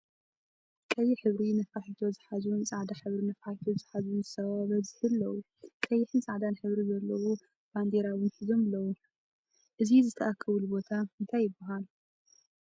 ቀይሕ ሕብሪ ነፋሕቶ ዝሓዙን ፃዕዳ ሕብሪ ነፋሒቶ ዝሓዙን ሰባት ዝዘዝሒ ኣለው። ቀይሕን ፃዕዳን ሕብሪ ዘለዎ ባንዴራ እውን ሒዞም ኣለው። ዝቱይ ዝትኣከብሉ ቦታ እንታይ ይብሃል?